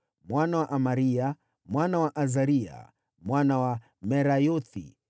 mwana wa Amaria, mwana wa Azaria, mwana wa Merayothi,